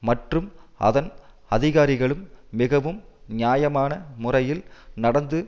மற்றும் அதன் அதிகாரிகளும் மிகவும் நியாயமான முறையில் நடந்து